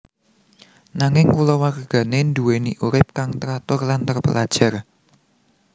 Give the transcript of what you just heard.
Nanging kulawargane nduweni urip kang teratur lan terpelajar